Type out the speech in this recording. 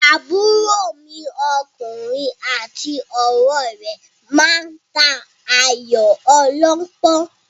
Àbúrò mi ọkùnrin àti ọ̀rẹ́ rẹ̀ máa ta Ayò ọlọ́pọ́n.